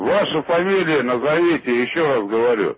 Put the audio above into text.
ваша фамилия назовите ещё раз